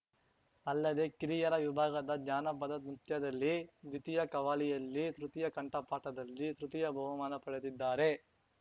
ಅಲ್ಲದೆ ಕಿರಿಯರ ವಿಭಾಗದ ಜಾನಪದ ನೃತ್ಯದಲ್ಲಿ ದ್ವಿತೀಯ ಕವ್ಹಾಲಿಯಲ್ಲಿ ತೃತೀಯ ಕಂಠಪಾಠದಲ್ಲಿ ತೃತೀಯ ಬಹುಮಾನ ಪಡೆದಿದ್ದಾರೆ